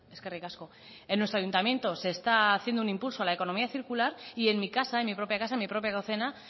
eskerrik asko en nuestro ayuntamiento se está haciendo un impulso a la economía circular y en mi casa en mi propia casa en mi propia